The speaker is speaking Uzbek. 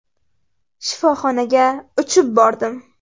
Shifoxonaga uchib bordim.